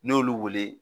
N'i y'olu wele